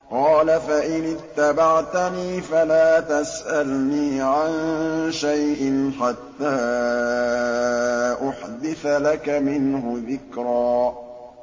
قَالَ فَإِنِ اتَّبَعْتَنِي فَلَا تَسْأَلْنِي عَن شَيْءٍ حَتَّىٰ أُحْدِثَ لَكَ مِنْهُ ذِكْرًا